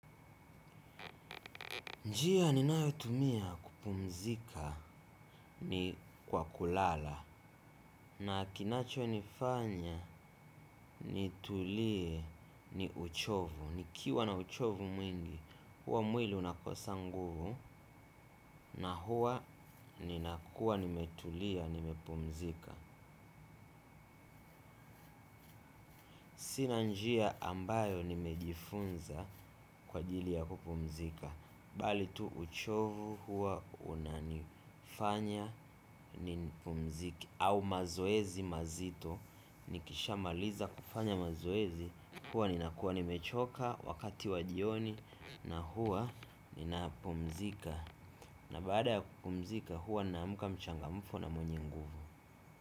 Njia ninayotumia kupumzika ni kwa kulala na kinachonifanya nitulie ni uchovu. Nikiwa na uchovu mwingi, huwa mwili unakosa nguvu na huwa ninakuwa nimetulia nimepumzika sina njia ambayo nimejifunza kwa ajili ya kupumzika. Bali tu uchovu huwa unanifanya ni pumzike au mazoezi mazito nikisha maliza kufanya mazoezi huwa ninakuwa nimechoka wakati wa jioni na huwa ninapumzika na baada ya kupumzika huwa naamka mchangamfu na mwenye nguvu.